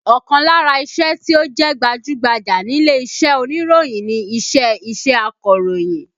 Ọkàn lára iṣẹ́ tí ó jẹ́ gbajú-gbajà nílé iṣẹ́ oníròyìn ni iṣẹ́ iṣẹ́ akọ̀rọ̀yìn